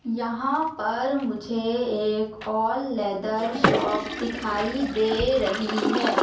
यहां पर मुझे एक और लेदर शॉप दिखाई दे रही है।